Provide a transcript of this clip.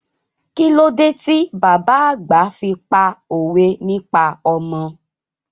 Kílódé ti bàbá àgbà fi pá òwe nípa ọmọ?